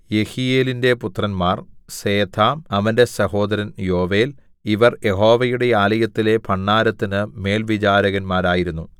യെഹീയേലിന്റെ പുത്രന്മാർ സേഥാം അവന്റെ സഹോദരൻ യോവേൽ ഇവർ യഹോവയുടെ ആലയത്തിലെ ഭണ്ഡാരത്തിനു മേൽവിചാരകരായിരുന്നു